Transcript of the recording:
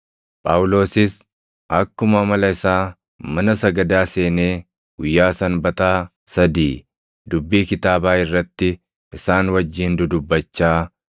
Phaawulosis akkuma amala isaa mana sagadaa seenee guyyaa Sanbataa sadii dubbii kitaabaa irratti isaan wajjin dudubbachaa,